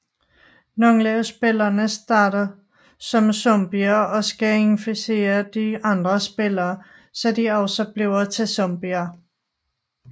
Nogle af spillerne starter som zombier og skal inficere de andre spillere så de også bliver til zombier